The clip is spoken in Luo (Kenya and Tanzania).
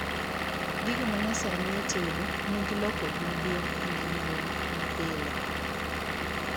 Gigo manyasani e tedo nigi lokruok maduong' e ngima wa mapile